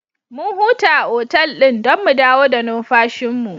Mun huta a otal ɗin don mu dawo da numfashinmu.